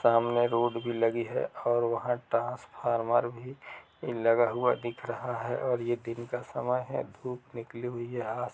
सामने रोड भी लगी है और वह का ट्रांसफार्मर भी लगा हुआ दिख रहा है और ये दिन का समय है धूप निकली हुई है ।